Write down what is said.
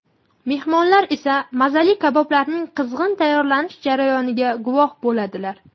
Mehmonlar esa mazali kaboblarning qizg‘in tayyorlanish jarayoniga guvoh bo‘ladilar.